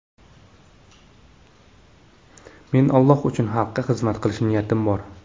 Men Alloh uchun xalqqa xizmat qilish niyatim bor.